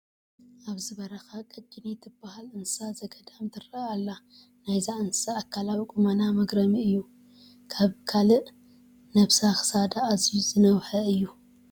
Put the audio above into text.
ኣብዚ በረካ ቀጭኔ ትበሃል እንስሳ ዘገዳም ትርአ ኣላ፡፡ ናይዛ እንስሳ ኣካላዊ ቁመና መግረሚ እዩ፡፡ ካብ ካልእ ነብሳ ክሳዳ ኣዝዩ ዝነውሐ እዩ፡፡